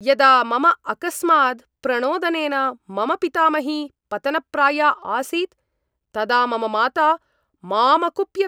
यदा मम अकस्मात् प्रणोदनेन मम पितामही पतनप्राया आसीत् तदा मम माता माम् अकुप्यत्।